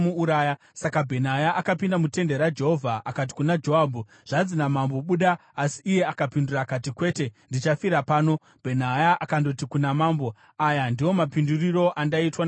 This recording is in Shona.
Saka Bhenaya akapinda mutende raJehovha akati kuna Joabhu, “Zvanzi namambo, ‘Buda.’ ” Asi iye akapindura akati, “Kwete, ndichafira pano.” Bhenaya akandoti kuna mambo, “Aya ndiwo mapindurirwo andaitwa naJoabhu.”